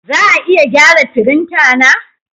Za a iya gyara firinta na?